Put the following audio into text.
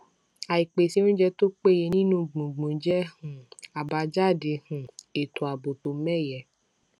àìpèsè oúnjẹ tó péye nínú gbùngbùn jẹ um abajade um ètò ààbò tó mẹyẹ